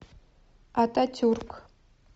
ататюрк